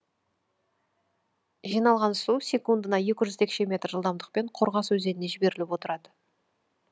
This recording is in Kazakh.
жиналған су секундына текше метр жылдамдықпен қорғас өзеніне жіберіліп отырады